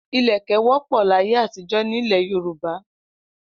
Ilẹ̀kẹ̀ wọ́pọ̀ láyé àtijọ́ nílẹ̀ Yorùbá.